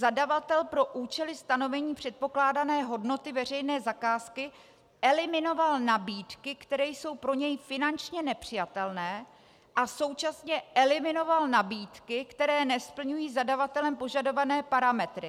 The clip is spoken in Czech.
Zadavatel pro účely stanovení předpokládané hodnoty veřejné zakázky eliminoval nabídky, které jsou pro něj finančně nepřijatelné, a současně eliminoval nabídky, které nesplňují zadavatelem požadované parametry.